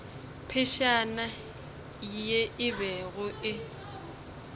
phefšana ye e bego e